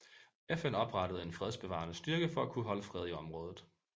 FN oprettede en fredsbevarende styrke for at holde fred i området